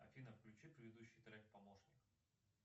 афина включи предыдущий трек помощник